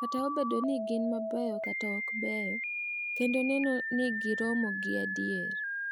Kata obedo ni gin mabeyo kata ma okbeyo, kendo neno ni giromo gi adier